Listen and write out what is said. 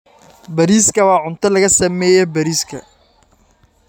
Bariiska waa cunto laga sameeyay bariiska.